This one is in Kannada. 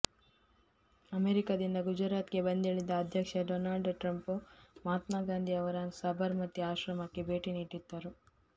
ಅಮೆರಿಕದಿಂದ ಗುಜರಾತ್ ಗೆ ಬಂದಿಳಿದ ಅಧ್ಯಕ್ಷ ಡೊನಾಲ್ಡ್ ಟ್ರಂಪ್ ಮಹಾತ್ಮಾ ಗಾಂಧಿ ಅವರ ಸಬರ್ ಮತಿ ಆಶ್ರಮಕ್ಕೆ ಭೇಟಿ ನೀಡಿದ್ದರು